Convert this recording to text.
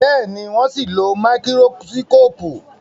Béèni wón sìn ló Máíkírósíkópù.